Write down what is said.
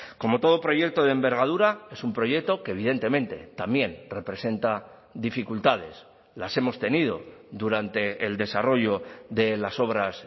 como todo proyecto de envergadura es un proyecto que evidentemente también representa dificultades las hemos tenido durante el desarrollo de las obras